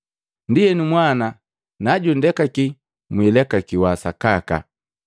Ndienu Mwana najundekaki, mwilekakiwi sakaka.